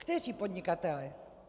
Kteří podnikatelé?